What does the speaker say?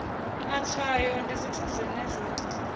matshwayo ndi zwithu zwine zwa